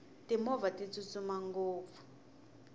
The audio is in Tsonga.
timovha ti tsutsuma ngopfu